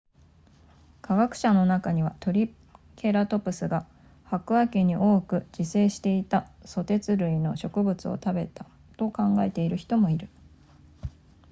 科学者の中にはトリケラトプスが白亜紀に多く自生していたソテツ類の植物を食べたと考えている人もいる